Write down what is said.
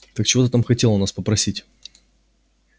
так чего ты там хотел у нас попросить